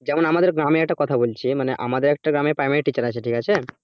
যেমন আমাদের গ্রামের একটা কথা বলছি মানে আমাদের একটা গ্রামে primary teacher আছে ঠিক আছে,